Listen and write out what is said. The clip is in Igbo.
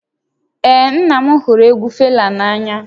Ee, nna m hụrụ egwu Fela n'anya